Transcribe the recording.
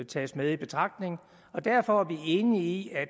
tages med i betragtning og derfor er vi enige i at